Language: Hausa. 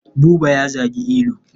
Buba ya zagi Ilu.